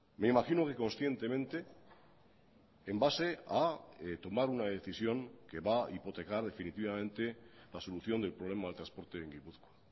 me imagino que conscientemente en base a tomar una decisión que va a hipotecar definitivamente la solución del problema del transporte en gipuzkoa